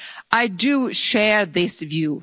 islands. I do share this